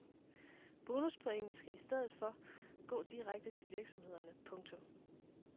Bonuspointene skal i stedet gå direkte til virksomheden. punktum